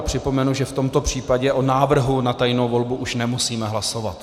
A připomenu, že v tomto případě o návrhu na tajnou volbu už nemusíme hlasovat.